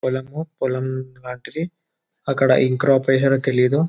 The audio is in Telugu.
పొలము పొలము లాంటిది అక్కడ తెలీదు